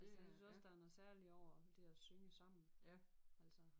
Jeg synes også der er noget særligt over det at synge sammen altså